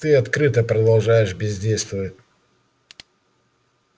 ты открыто продолжаешь бездействовать